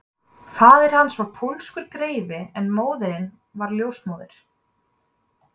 Faðir hans var pólskur greifi en móðirin var ljósmóðir